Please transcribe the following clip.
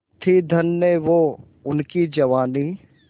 थी धन्य वो उनकी जवानी